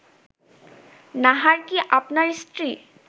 নাহার কি আপনার স্ত্রী